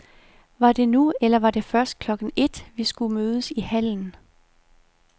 Var det nu eller var det først klokken ét, vi skulle mødes i hallen?